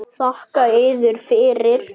Þakka yður fyrir.